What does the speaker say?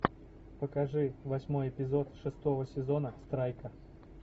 покажи восьмой эпизод шестого сезона страйка